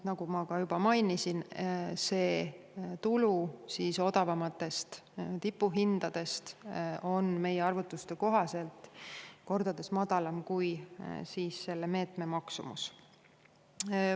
Nagu ma juba mainisin, see tulu odavamatest tipuhindadest on meie arvutuste kohaselt kordades madalam kui selle meetme maksumus.